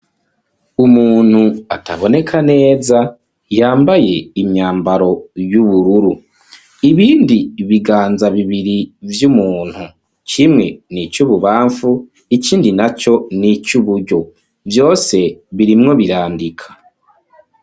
Umuntu ataboneka neza, yambaye imyambaro y'ubururu. Ibindi biganza bibiri vy'umuntu, kimwe ni ic'ububamfu, ikindi na co ni ic'uburyo. Vyose birimwo birandika.